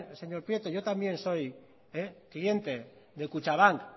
señor prieto yo también soy cliente de kutxabank